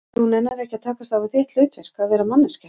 Og þú nennir ekki að takast á við þitt hlutverk, að vera manneskja?